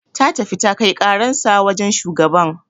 Ta tafi ta kai karansa wajan shugaban